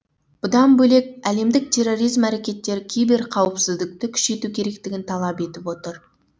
бұдан бөлек әлемдік терроризм әрекеттері киберқауіпсіздікті күшейту керектігін талап етіп отыр